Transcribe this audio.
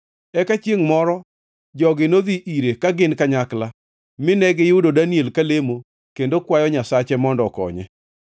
Eka chiengʼ moro jogi nodhi ire ka gin kanyakla mine giyudo Daniel ka lemo kendo kwayo Nyasache mondo okonye.